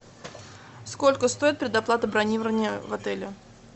сколько стоит предоплата бронирования в отеле